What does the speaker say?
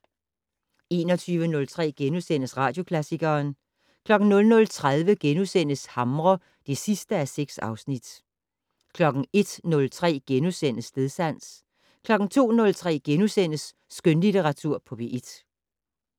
21:03: Radioklassikeren * 00:30: Hamre (6:6)* 01:03: Stedsans * 02:03: Skønlitteratur på P1 *